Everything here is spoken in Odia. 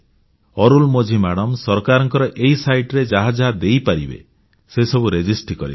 ଅରୁଲମୋଝି ମାଡ଼ାମ ସରକାରଙ୍କ ଏହି ସାଇଟ୍ ରେ ଯାହା ଯାହା ଦେଇପାରିବେ ସେସବୁ ପଞ୍ଜିକରଣ କରିଦେଲେ